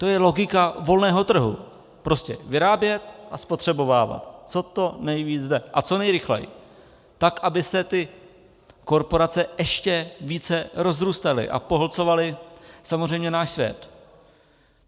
To je logika volného trhu - prostě vyrábět a spotřebovávat, co to nejvíc jde a co nejrychleji, tak aby se ty korporace ještě více rozrůstaly a pohlcovaly samozřejmě náš svět.